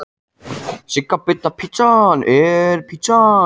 Hrund Þórsdóttir: Hvað er þetta hátt?